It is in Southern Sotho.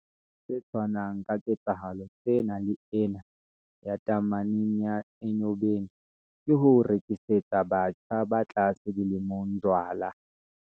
Se tshwanang ka ketsahalo tsena le ena ya tameneng ya Enyobeni, ke ho rekisetsa batjha ba tlase dilemong jwala.